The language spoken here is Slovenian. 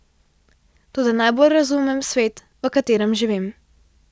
Toda najbolj razumem svet, v katerem živim.